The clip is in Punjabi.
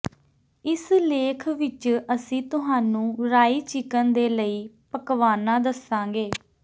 ਇਸ ਲੇਖ ਵਿਚ ਅਸੀਂ ਤੁਹਾਨੂੰ ਰਾਈ ਚਿਕਨ ਦੇ ਲਈ ਪਕਵਾਨਾ ਦੱਸਾਂਗੇ